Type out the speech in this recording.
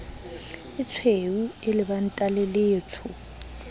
etshweu e lebanta le letsho